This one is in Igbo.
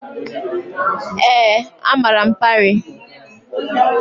Ee, amara m Parii.